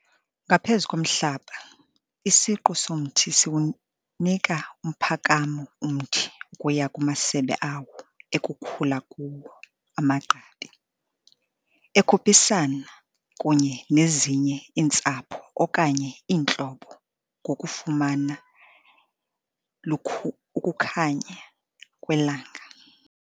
Ngaphezu komhlaba, isiqu somthi siwunika umphakamo umthi ukuya kumasebe awo ekukhula kuwo amagqabi, ekhuphisana kunye nezinye iintsapho okanye iintlobo ngokufumana iukukhanya kwelanga.